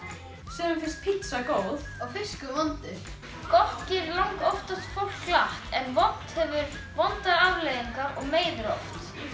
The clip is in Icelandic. sumum finnst pizza góð og fiskur vondur gott gerir langoftast fólk glatt en vont hefur vondar afleiðingar og meiðir oft